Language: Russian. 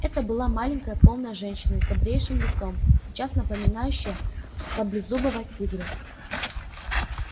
это была маленькая полная женщина с добрейшим лицом сейчас напоминающая саблезубого тигра